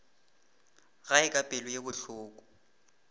gae ka pelo ye bohloko